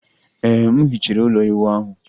Ee, m hichere ụlọ ịwụ ahu